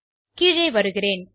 கீழே வருகிறேன்